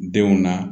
Denw na